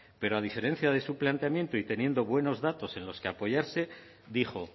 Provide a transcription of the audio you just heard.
pero a diferencia de su planteamiento y teniendo buenos datos en los que apoyarse dijo